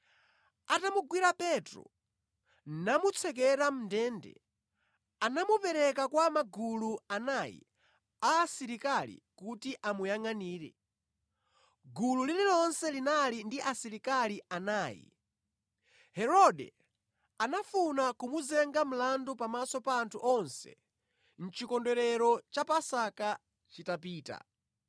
Atamugwira Petro, namutsekera mʼndende, anamupereka kwa magulu anayi a asilikali kuti amuyangʼanire, gulu lililonse linali ndi asilikali anayi. Herode anafuna kumuzenga mlandu pamaso pa anthu onse chikondwerero cha Paska chitapita.